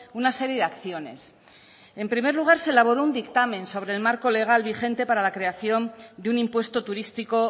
una serie de acciones en primer lugar se elaboró un dictamen sobre el marco legal vigente para la creación de un impuesto turístico